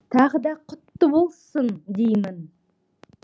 тағы да құтты болсын деймін